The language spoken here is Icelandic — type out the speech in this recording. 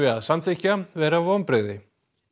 að samþykkja vera vonbrigði